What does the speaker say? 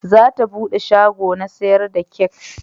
Za ta bude shago na sayar da kek